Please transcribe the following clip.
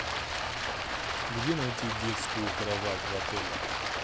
где найти детскую кровать в отеле